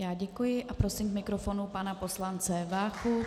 Já děkuji a prosím k mikrofonu pana poslance Váchu.